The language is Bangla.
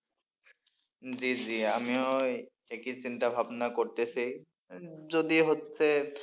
জি জি আমিও ওই একই চিন্তা ভাবনা করতেছি যদি হচ্ছে,